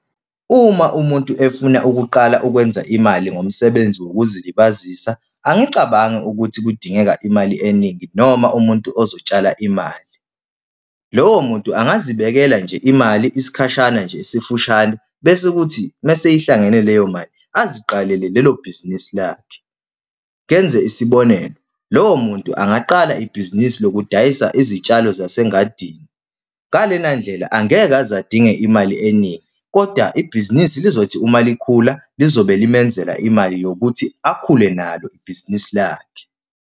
Uma umuntu efuna ukuqala ukwenza imali ngomsebenzi wokuzilibazisa, angicabangi ukuthi kudingeka imali eningi noma umuntu ozotshala imali. Lowo muntu angazibekela nje imali, isikhashana nje esifushane, bese kuthi uma seyihlangene leyo mali aziqalele lelo bhizinisi lakhe. Ngenze isibonelo, lowo muntu angaqala ibhizinisi lokudayisa izitshalo zase ngadini. Ngalena ndlela angeke aze adinge imali eningi, koda ibhizinisi lizothi uma likhula, lizobe limenzela imali yokuthi akhule nalo ibhizinisi lakhe.